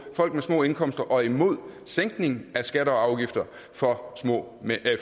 folk med små indkomster og imod sænkning af skatter og afgifter for